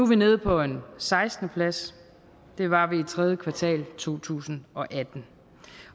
vi nede på en sekstende plads det var vi i tredje kvartal to tusind og atten